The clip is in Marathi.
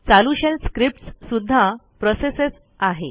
चालू शेल स्क्रिप्टस् सुध्दा प्रोसेसच आहे